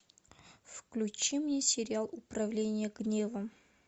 включи мне сериал управление гневом